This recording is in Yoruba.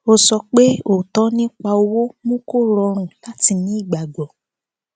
ó sọ pé òótọ nípa owó mú kó rọrùn láti ní ìgbàgbọ